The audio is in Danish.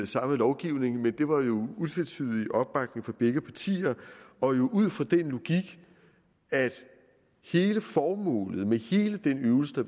samme lovgivning men det var jo utvetydig opbakning fra begge partier og jo ud fra den logik at hele formålet med hele den øvelse der